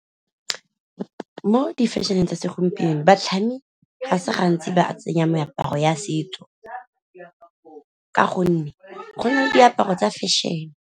Mo di-fashion-eng tsa segompieno batlhami ga se gantsi ba tsenya meaparo ya setso, ka gonne gone diaparo tsa fashion.